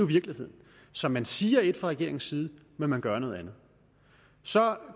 virkeligheden så man siger ét fra regeringens side men man gør noget andet så